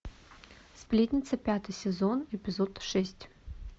сплетница пятый сезон эпизод шесть